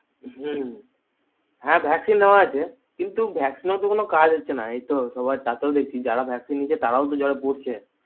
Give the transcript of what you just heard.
হুম হ্যা vaccine নেওয়া আছে কিন্তু vaccine ও তো কোনো কাজ হচ্ছে না এই তো সবার তাতেও তো যারা vaccine নিয়েছে তারাও তো জ্বরে পুড়ছে